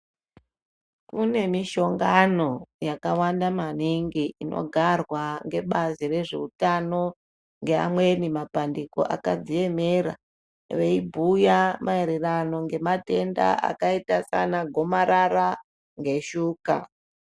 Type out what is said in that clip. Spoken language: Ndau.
Kune mishongano yakawanda maningi inigarwa ngebazi rezveutano ngeamweni mapandiko akadziemera veibhuya maererano ngematenda akaita sana gomarara ngeshuka.